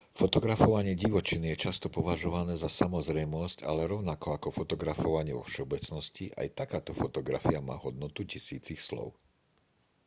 fotografovanie divočiny je často považované za samozrejmosť ale rovnako ako fotografovanie vo všeobecnosti aj takáto fotografia má hodnotu tisícich slov